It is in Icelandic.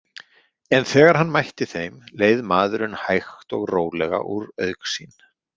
En þegar hann mætti þeim leið maðurinn hægt og rólega úr augsýn.